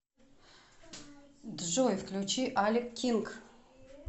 джой включи алек кинг